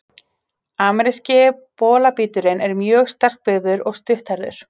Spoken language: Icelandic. Ameríski bolabíturinn er mjög sterkbyggður og stutthærður.